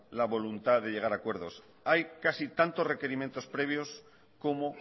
la voluntad de llegar a acuerdos hay casi tantos requerimientos previos como